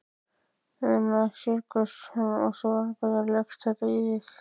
Una Sighvatsdóttir: Og svona, hvernig leggst þetta í þig?